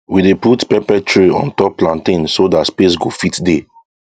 we dey put pepper tray on top plantain so that space go fit dey